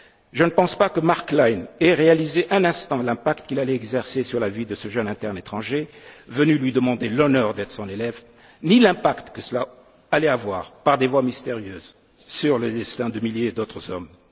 basculé. Je ne pense pas que Marc Klein ait réalisé un instant l'impact qu'il allait exercer sur la vie de ce jeune interne étranger venu lui demander l'honneur d'être son élève, ni l'impact que cela allait avoir, par des voies mystérieuses, sur le destin de milliers d'autres